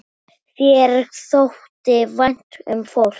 Þér þótti vænt um fólk.